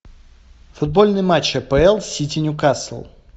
футбольный матч апл сити ньюкасл